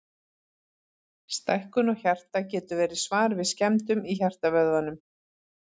Stækkun á hjarta getur verið svar við skemmdum í hjartavöðvanum.